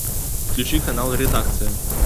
включи канал редакция